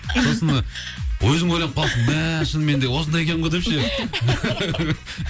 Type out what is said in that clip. сосын өзің ойлап қаласың мәәә шынымен де осындай екен ғой деп ше